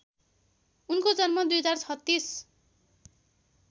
उनको जन्म २०३६